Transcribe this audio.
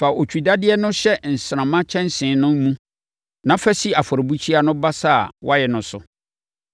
Fa otwidadeɛ no hyɛ nsramma kyɛnsee no mu na fa si afɔrebukyia no basa a wɔayɛ no so.